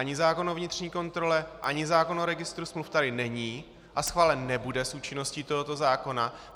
Ani zákon o vnitřní kontrole ani zákon o registru smluv tady není a schválen nebude s účinností tohoto zákona.